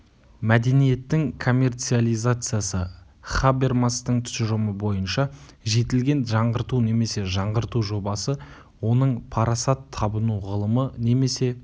мәдениеттің коммерциализациясы хабермастың тұжырымы бойынша жетілген жаңғырту немесе жаңғырту жобасы оның парасат табыну ғылымы немесе